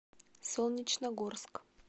солнечногорск